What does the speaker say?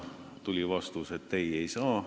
Tuli vastus, et ei, ei saa.